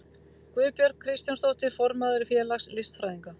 Guðbjörg Kristjánsdóttir, formaður félags listfræðinga.